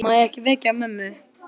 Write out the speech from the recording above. Má ekki vekja mömmu.